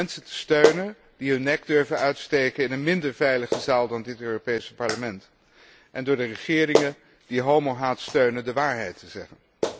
Door mensen te steunen die hun nek durven uitsteken in een minder veilige zaal dan dit Europees Parlement, en door de regeringen die homohaat steunen de waarheid te zeggen.